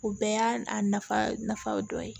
O bɛɛ y'a nafa dɔ ye